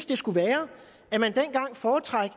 det skulle være at man dengang foretrak